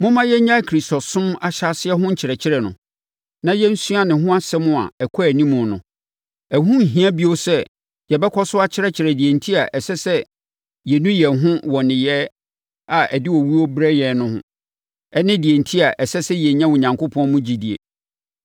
Momma yɛnnyae Kristosom ahyɛaseɛ ho nkyerɛkyerɛ no, na yɛnsua ne ho nsɛm a ɛkɔ anim no. Ɛho nnhia bio sɛ yɛbɛkɔ so akyerɛkyerɛ deɛ enti a ɛsɛ sɛ yɛnu yɛn ho wɔ nneyɛeɛ a ɛde owuo berɛ yɛn ho ne deɛ enti a ɛsɛ sɛ yɛnya Onyankopɔn mu gyidie.